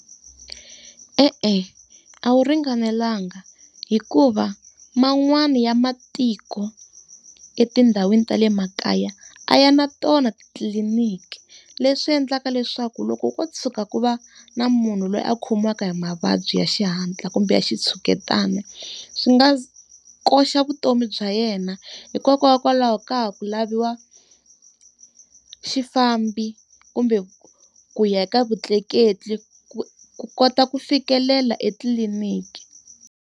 E-e a wu ringanelanga hikuva man'wani ya matiko etindhawini tale makaya a ya na tona titliliniki. Leswi endlaka leswaku loko ko tshuka ku va na munhu loyi a khumbaka hi mavabyi ya xihatla kumbe ya xitshuketana swi nga koxa vutomi bya yena hikokwalaho ka ha ku laviwa xifambo kumbe ku ya eka vutleketli ku ku kota ku fikelela etliliniki.